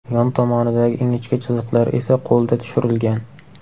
Yon tomonidagi ingichka chiziqlar esa qo‘lda tushirilgan.